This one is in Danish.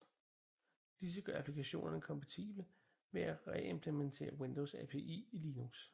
Disse gør applikationerne kompatible ved at reimplementere Windows API i Linux